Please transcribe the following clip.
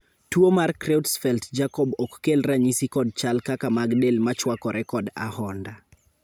tuo mar Creutzfeldt Jakob ok kel ranyisi kod chal kaka mag del machwakore kod ahonda